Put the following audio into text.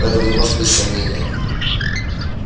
в этом не может быть сомнения